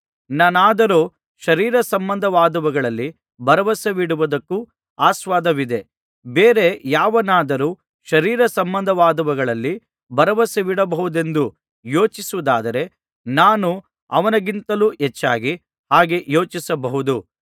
ನಾನಾದರೋ ಶರೀರಸಂಬಂಧವಾದವುಗಳಲ್ಲಿ ಭರವಸವಿಡುವುದಕ್ಕೂ ಆಸ್ಪದವಿದೆ ಬೇರೆ ಯಾವನಾದರೂ ಶರೀರಸಂಬಂಧವಾದವುಗಳಲ್ಲಿ ಭರವಸವಿಡಬಹುದೆಂದು ಯೋಚಿಸುವುದಾದರೆ ನಾನು ಅವನಿಗಿಂತಲೂ ಹೆಚ್ಚಾಗಿ ಹಾಗೆ ಯೋಚಿಸಬಹುದು